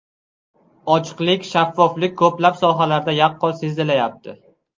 Ochiqlik, shaffoflik ko‘plab sohalarda yaqqol sezilayapti.